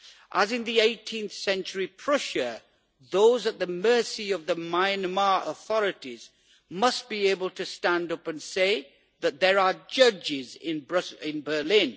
As in 18th Century Prussia, those at the mercy of the Myanmar authorities must be able to stand up and say that there are judges in Berlin.